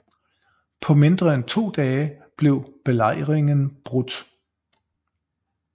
På mindre end to dage blev belejringen brudt